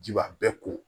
Ji b'a bɛɛ ko